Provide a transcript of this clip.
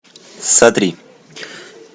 сотри